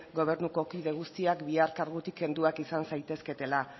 gobernuko kide guztiak bihar kargutik kenduak izan zaitezketela